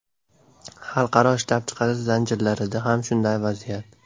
Xalqaro ishlab chiqarish zanjirlarida ham shunday vaziyat.